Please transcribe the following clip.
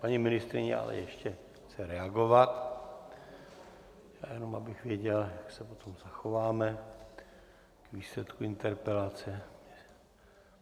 Paní ministryně ale ještě chce reagovat, jenom abych věděl, jak se potom zachováme k výsledku interpelace.